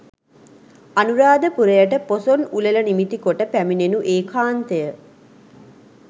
අනුරාධපුරයට පොසොන් උළෙල නිමිති කොට පැමිණෙනු ඒකාන්තය.